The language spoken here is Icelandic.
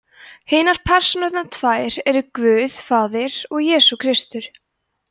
hinar persónurnar tvær eru guð faðir og jesús kristur